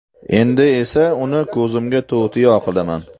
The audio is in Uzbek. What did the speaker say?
Endi esa uni ko‘zimga to‘tiyo qilaman.